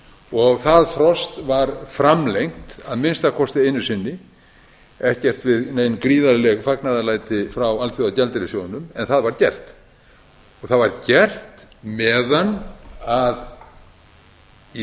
og það frost var framlengt að minnsta kosti einu sinni ekkert við nein gríðarleg fagnaðarlæti frá alþjóðagjaldeyrissjóðnum en það var gert það var gert meðan í